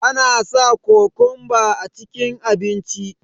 ana sa kokonba a cikin abinci